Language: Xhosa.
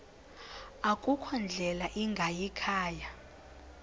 akukho ndlela ingayikhaya